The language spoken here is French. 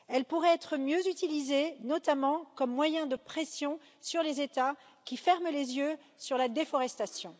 Elle pourrait être mieux utilisée, notamment comme moyen de pression sur les États qui ferment les yeux sur la déforestation.